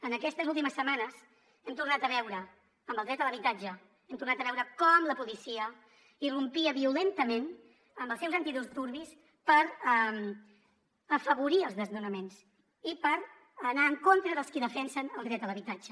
en aquestes últimes setmanes hem tornat a veure amb el dret a l’habitatge com la policia irrompia violentament amb els seus antidisturbis per afavorir els desnonaments i per anar en contra dels qui defensen el dret a l’habitatge